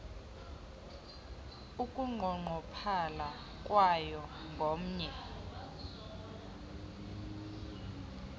ukunqongophala kwayo ngomnye